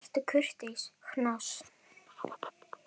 Vertu kurteis, Hnoss.